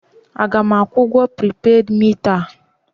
A ga m akwụ ụgwọ pripeed mita a?